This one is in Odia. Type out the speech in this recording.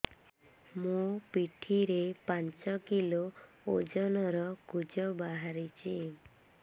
ମୋ ପିଠି ରେ ପାଞ୍ଚ କିଲୋ ଓଜନ ର କୁଜ ବାହାରିଛି